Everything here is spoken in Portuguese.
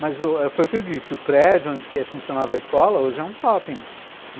Mas u foi o que eu disse, o prédio onde funcionava a escola hoje é um shopping.